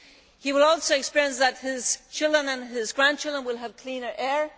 He can also explain that his children and his grandchildren will have cleaner air.